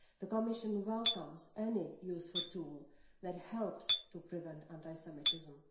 The Commission welcomes any useful tool that helps to prevent anti Semitism.